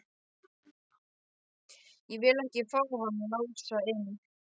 Ég vil ekki fá hann Lása inn.